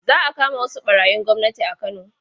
Za a kama wasu ɓarayin gwamnati a Kano.